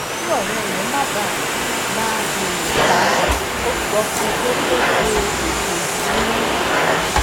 kí òré rè má bàa máa beere ṣáá ó sọ fún un pé kó ṣe ètò ìsuná